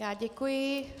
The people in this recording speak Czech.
Já děkuji.